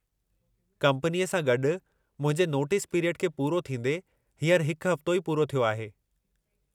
कंपनीअ सां गॾु मुंहिंजे नोटिस पिरियड खे पूरो थींदे हींअर हिकु हफ़्तो ई पूरो थियो आहे।